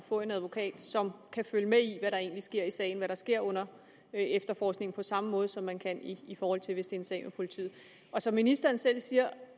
få en advokat som kan følge med i hvad der egentlig sker i sagen hvad der sker under efterforskningen på samme måde som man kan i forhold til hvis en sag med politiet som ministeren selv siger